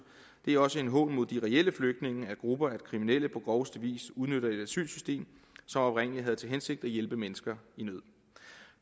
det er også en hån mod de reelle flygtninge at grupper af kriminelle på groveste vis udnytter et asylsystem som oprindelig havde til hensigt at hjælpe mennesker i nød